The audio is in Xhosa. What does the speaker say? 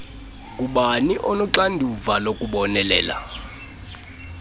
ngubani onoxanduva lokubonelela